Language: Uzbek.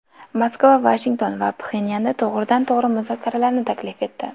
Moskva Vashington va Pxenyanga to‘g‘ridan to‘g‘ri muzokaralarni taklif etdi.